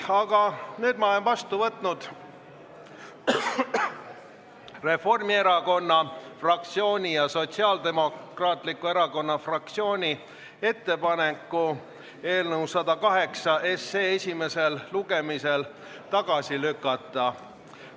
Aga nüüd ma olen vastu võtnud Reformierakonna fraktsiooni ja Sotsiaaldemokraatliku Erakonna fraktsiooni ettepaneku eelnõu 108 esimesel lugemisel tagasi lükata.